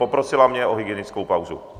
Poprosila mě o hygienickou pauzu.